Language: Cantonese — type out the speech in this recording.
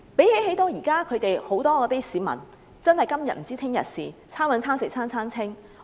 現時，很多市民"今天不知明天事"、"餐搵餐食餐餐清"。